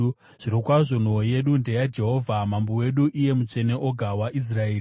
Zvirokwazvo, nhoo yedu ndeyaJehovha, mambo wedu, iye Mutsvene oga waIsraeri.